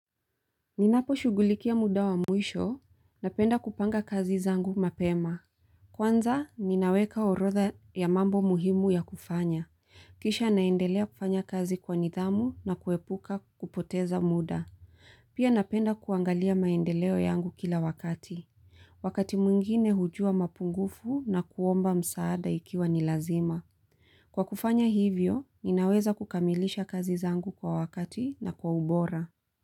Ninapo shugulikia muda wa mwisho, napenda kupanga kazi zangu mapema. Kwanza, ninaweka orodha ya mambo muhimu ya kufanya. Kisha naendelea kufanya kazi kwa nidhamu na kuepuka kupoteza muda. Pia napenda kuangalia maendeleo yangu kila wakati. Wakati mwingine hujuwa mapungufu na kuomba msaada ikiwa ni lazima. Kwa kufanya hivyo, ninaweza kukamilisha kazi zangu kwa wakati na kwa ubora.